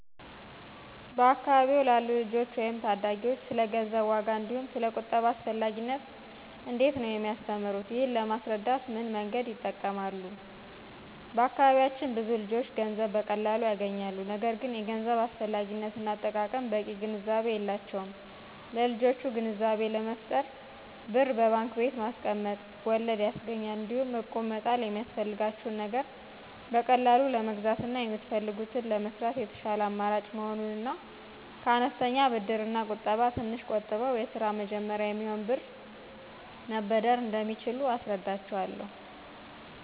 በአካባቢዎ ላሉ ልጆች ወይም ታዳጊዎች ስለ ገንዘብ ዋጋ እንዲሁም ስለ ቁጠባ አስፈላጊነት እንዴት ነው የሚያስተምሩት, ይህንን ለማስረዳት ምን መንገድ ይጠቀማሉ? በአካባቢያችን ብዙ ልጆች ገንዘብ በቀላሉ ያገኛሉ። ነገር ግን የገንዘብ አስፈላጊነት እና አጠቃቀም በቂ ግንዛቤ የላቸውም ለልጆቹ ግንዛቤ ለመፍጠር ብር በባንክ ቤት ማስቀመጥ ወለድ ያስገኛል, እንዲሁም እቁብ መጣል የሚያስፈልጋችሁን ነገር በቀላሉ ለመግዛትና የምትፈልጉትን ለመስራት የተሻለ አማራጭ መሆኑን እና ከአነስተኛ ብድርና ቁጠባ ትንሽ ቆጥበው የስራ መጀመሪያ የሚሆን ብር መበደር እንደሚችሉ አስረዳቸዋለሁ።